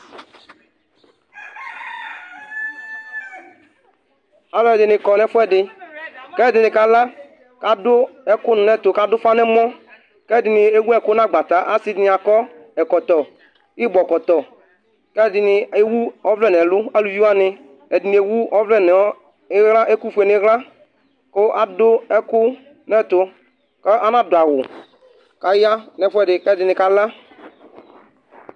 alu ɛdini kɔ n'ɛfuɛdi, k'ɛdini kala, kadu ɛku ni n'ɛtu , kadu ufa n'ɛmɔ , k'ɛdini ewu ɛku n'agbata , asi dini akɔ ɛkɔtɔ, ibɔ kɔtɔ, k'ɛdini ewu ɔvlɛ n'ɛlu alu wʋani ɛdini ewu ɔvlɛ nu iɣla, ɛku fue n'iɣla ku adu ɛku n'ɛtu anadu'awu kaka n'ɛfʋɛdi k'ɛdini ka la